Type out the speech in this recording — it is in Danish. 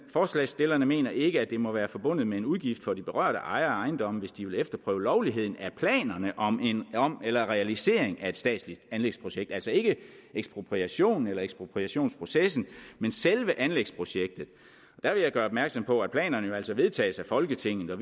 forslagsstillerne mener ikke at det må være forbundet med en udgift for de berørte ejere af ejendomme hvis de vil efterprøve lovligheden af planerne om eller realiseringen af et statsligt anlægsprojekt altså ikke ekspropriation eller ekspropriationsprocessen men selve anlægsprojektet der vil jeg gøre opmærksom på at planerne jo altså vedtages af folketinget og